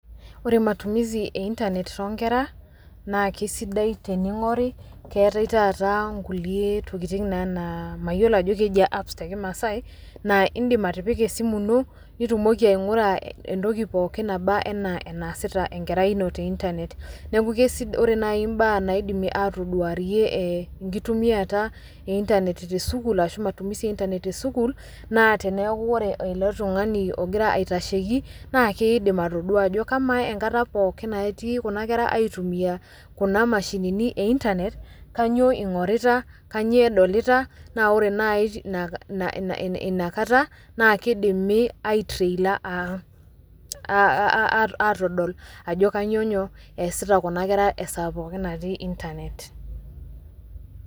Ore matumizi e intanet too nkera naa kesidai tening'ori keetai taata nkulie tokitin naa naa mayiolo ajo kejia apps te kimasai naa indim atipika esimu ino nitumoki aing'ura entoki pookin naba enaa enaasita enkerai ino te intanet. Neeku kesida ore nai mbaa naidimi atoduarie ee enkitumiata e intanet te sukuul ashu matumizi e intanet te sukuul, naa teneeku ore ele tung'ani ogira aitasheki naa kiidim atodua ajo kamaa enkata pookin nati kuna kera aitumia kuna mashinini e intanet, kanyo ing'orita, kanyoo edolita naa ore nai ina ina ina kata naa kidimi aitrailor aa a a a aatodol ajo kanyo nyoo eesita kuna kera esaa pookin natii intanet.